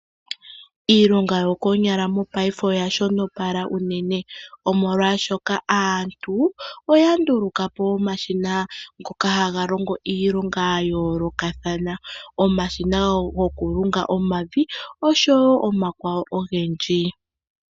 Iilonga yokoonyala mopaife oya shonopala uunene, omolwashoka aantu oya ndulukapo omashina ngoka haga longo iilonga ya yoolokathana. Omashina goku lunga omavi osho wo omakwawo ogendji.